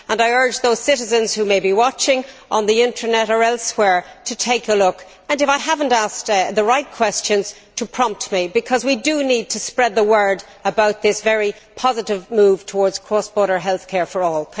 I urge those citizens who may be watching on the Internet or elsewhere to take a look and, if I have not asked the right questions, to prompt me because we need to spread the word about this very positive move towards cross border healthcare for all.